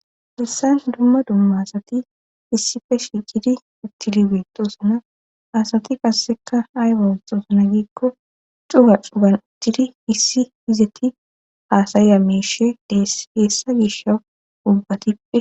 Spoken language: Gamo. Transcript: Ressayn dumma dumma asati issife shi ciri ittiri beetoosana hasati qasseka hay bontoosana giikko cuga cuban tiri issi hizeti haasaya meeshe deessa gisha ubbatippe.